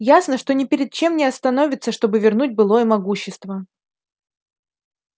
ясно что ни перед чем не остановится чтобы вернуть былое могущество